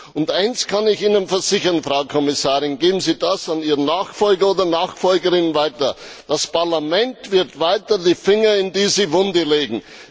Und eins kann ich Ihnen versichern, Frau Kommissarin, geben Sie das an Ihren Nachfolger oder Ihre Nachfolgerin weiter Das Parlament wird weiter die Finger in diese Wunde legen.